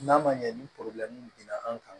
N'a ma ɲɛ ni binna an kan